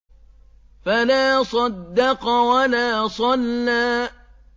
فَلَا صَدَّقَ وَلَا صَلَّىٰ